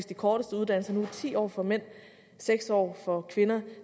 de korteste uddannelser nu er ti år for mænd og seks år for kvinder